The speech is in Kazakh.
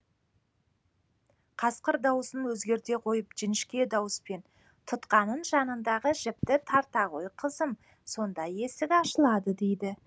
қасқыр дауысын өзгерте қойып жіңішке дауыспен тұтқаның жанындағы жіпті тарта ғой қызым сонда есік ашылады дейді